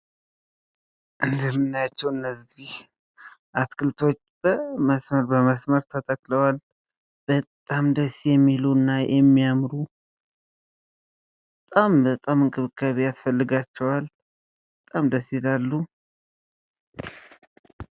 እንደምናያቸው እነዚህ አትክልቶች በመስመር በመስመር ተተክለዋል ፤ በጣም ደስ የሚሉ እና የሚያምሩ በጣም እንክብካቤ ያስፈልጋቸዋል ፤ በጣም ደስ ይላሉ።